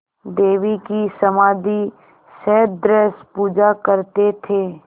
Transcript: देवी की समाधिसदृश पूजा करते थे